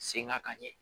Sen ŋa ka ɲɛ